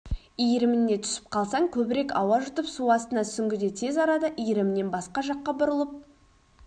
иіріміне түсіп қалсаң көбірек ауа жұтып су астына сүңгіде тез арада иірімнен басқа жаққа бұрылып